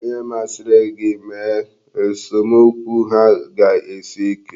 Ihe masịrị gị mee, esomokwu ha ga-esi ike.